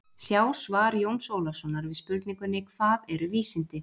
Sjá svar Jóns Ólafssonar við spurningunni: Hvað eru vísindi?